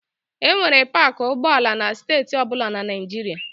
E nwere paakị ụgbọala na steeti ọ bụla na Naịjirịa.